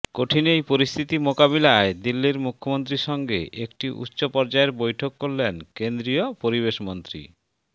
কঠিন এই পরিস্থিতি মোকাবিলায় দিল্লির মুখ্যমন্ত্রীর সঙ্গে একটি উচ্চ পর্যায়ের বৈঠক করলেন কেন্দ্রীয় পরিবেশ মন্ত্রী